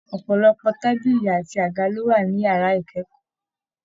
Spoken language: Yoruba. Ọpọlọpọ tábìlì àti àga ló wà ní yàrá ikẹkọọ.